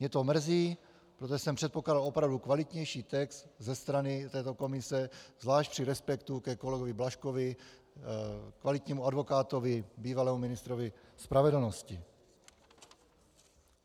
Mě to mrzí, protože jsem předpokládal opravdu kvalitnější text ze strany této komise, zvlášť při respektu ke kolegovi Blažkovi, kvalitnímu advokátovi, bývalému ministru spravedlnosti.